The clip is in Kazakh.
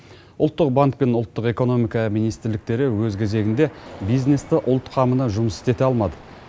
ұлттық банк пен ұлттық экономика министрліктері өз кезегінде бизнесті ұлт қамына жұмыс істете алмады